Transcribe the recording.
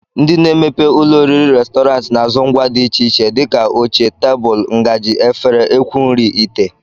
Ndị na-emepe ụlọoriri restrọn na-azụ ngwa dị iche iche dịka oche, tebụl, ngaji, efere, ekwu nri, ite